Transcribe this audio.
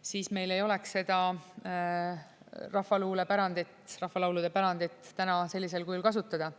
siis meil ei oleks seda rahvaluulepärandit, rahvalaulude pärandit täna sellisel kujul kasutada.